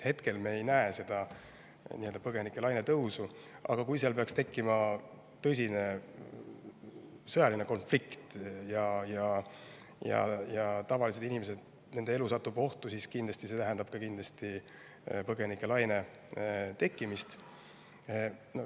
Hetkel me ei näe põgenikelaine tõusu, aga kui seal peaks tekkima tõsine sõjaline konflikt ja tavaliste inimeste elu satub ohtu, siis tähendab see kindlasti põgenikelaine tekkimist.